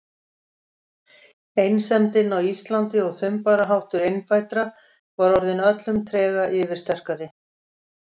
Einsemdin á Íslandi og þumbaraháttur innfæddra var orðin öllum trega yfirsterkari.